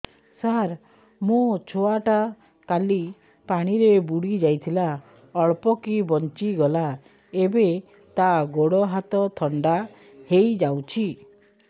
ସାର ମୋ ଛୁଆ ଟା କାଲି ପାଣି ରେ ବୁଡି ଯାଇଥିଲା ଅଳ୍ପ କି ବଞ୍ଚି ଗଲା ଏବେ ତା ଗୋଡ଼ ହାତ ଥଣ୍ଡା ହେଇଯାଉଛି